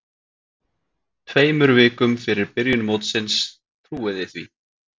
Tveimur vikum fyrir byrjun mótsins, trúiði því?